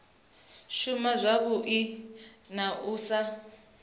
shuma zwavhui na u sa